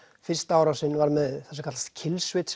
fyrsta árásin var með það sem kallast